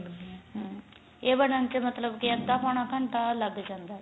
ਹਾਂ ਇਹ ਬਣਨ ਤੇ ਮਤਲਬ ਅੱਧਾ ਪੋਣਾ ਘੰਟਾ ਲੱਗ ਜਾਂਦਾ